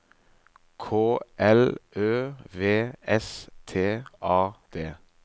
K L Ø V S T A D